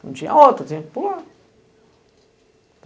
Não tinha outro, tinha que pular.